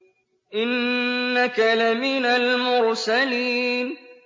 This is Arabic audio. إِنَّكَ لَمِنَ الْمُرْسَلِينَ